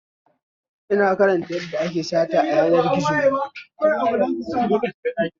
Ina karanta yadda ake sata a yanar gizo